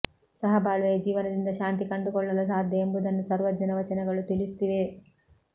ಸಹಬಾಳ್ವೆಯ ಜೀವನದಿಂದ ಶಾಂತಿ ಕಂಡುಕೊಳ್ಳಲು ಸಾಧ್ಯ ಎಂಬುದನ್ನು ಸರ್ವಜ್ಞನ ವಚನಗಳು ತಿಳಿಸುತ್ತಿದೆ